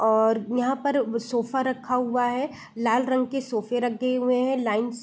और यहाँ पर सोफा रखा है लाल रंग के सोफे रखें हुए हैं लाइन्स --